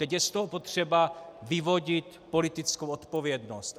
Teď je z toho potřeba vyvodit politickou odpovědnost.